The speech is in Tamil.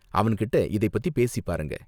அவன்கிட்ட இதை பத்தி பேசி பாருங்க.